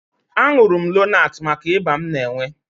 Aṅụrụ m Lonaatị maka ịba m na-enwe